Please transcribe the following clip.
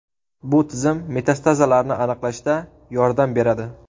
Bu tizim metastazlarni aniqlashda yordam beradi.